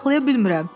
Saxlaya bilmirəm.